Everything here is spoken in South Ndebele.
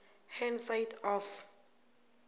hand side of